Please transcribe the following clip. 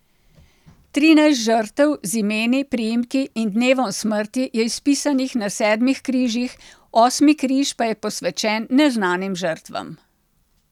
Trinajst žrtev z imeni, priimki in dnevom smrti je izpisanih na sedmih križih, osmi križ pa je posvečen neznanim žrtvam.